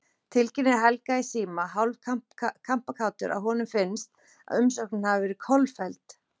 Tilkynnir Helga í síma, hálf kampakátur að honum finnst, að umsóknin hafi verið kolfelld.